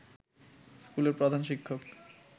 স্কুলের প্রধান শিক্ষক